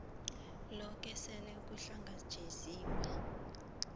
loke sele uhlangatjeziwe